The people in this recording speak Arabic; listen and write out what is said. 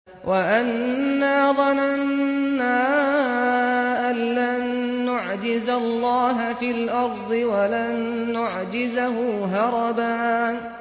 وَأَنَّا ظَنَنَّا أَن لَّن نُّعْجِزَ اللَّهَ فِي الْأَرْضِ وَلَن نُّعْجِزَهُ هَرَبًا